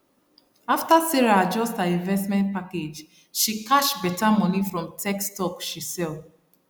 after sarah adjust her investment package she cash better money from tech stock she sell